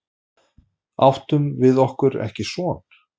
Áttum við okkur ekki son?